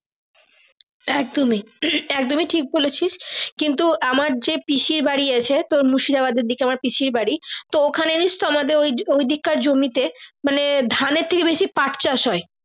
একদমই একদমই ঠিক বলেছিস কিন্তু আমার যে পিসি বাড়ি আছে মুর্শিদাবাদের দিকে আমার পিসি বাড়ি তো ওখানে জানিস তো ওই ঐদিক কার জমিতে মানে ধানের থাকে বেশি পাট চাষ হয়।